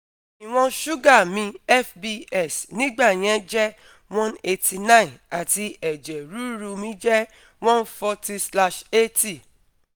Iwon suga mi fbs nigbayen je one eighty nine ati eje ruru mi je one forty slash eighty